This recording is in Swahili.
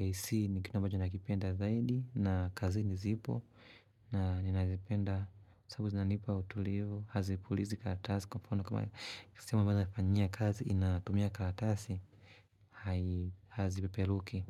AC ni kitu ambacho nakipenda zaidi na kazini zipo na ninazipenda sababu zinanipa utulivu, hazipulizi kalatasi kwa mfano kama sehemu ambayo nafanyia kazi inatumia karatasi hazipeperuki.